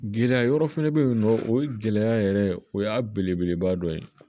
Gɛlɛya yɔrɔ fɛnɛ be yen nɔ o ye gɛlɛya yɛrɛ ye o y'a belebeleba dɔ ye